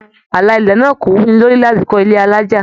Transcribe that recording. Àlà ilẹ̀ náà kò wuni lórí láti kọ ilé alájá.